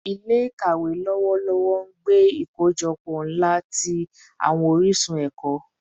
Ile-ikawe lọwọlọwọ n gbe ikojọpọ nla ti awọn orisun ẹkọ